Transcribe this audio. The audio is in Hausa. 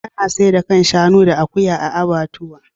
Ana saida kan shanu da akuya a abbatuwa.